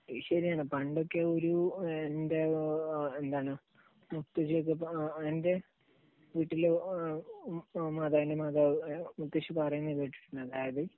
അത് ശരിയാണ്. പണ്ടൊക്കെ ഒരു, എന്റെ എന്താണ്, മുത്തശ്ശിയൊക്കെ, എന്റെ വീട്ടിൽ മാതാവിൻറെ മാതാവ് മുത്തശ്ശി പറയുന്നത് കേട്ടിട്ടുണ്ട്, അതായത്